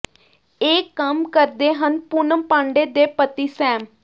ਇਹ ਕੰਮ ਕਰਦੇ ਹਨ ਪੂਨਮ ਪਾਂਡੇ ਦੇ ਪਤੀ ਸੈਮ